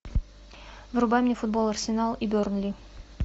врубай мне футбол арсенал и бернли